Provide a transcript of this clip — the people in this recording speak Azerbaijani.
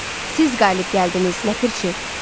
Siz qalib gəldiniz, ləpərçi.